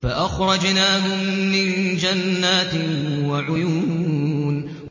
فَأَخْرَجْنَاهُم مِّن جَنَّاتٍ وَعُيُونٍ